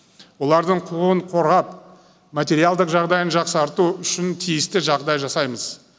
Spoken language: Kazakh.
олардың құқығын қорғап материалдық жағдайын жақсарту үшін тиісті жағдай жасаймыз